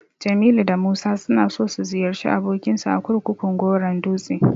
Jamilu da Musa suna so su ziyarci abokinsu a kurkukun Goron dutse.